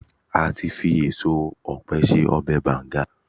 ati fi eso òpe se ọbè bangan